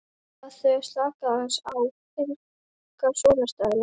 Bað þau að slaka aðeins á, enga svona stæla!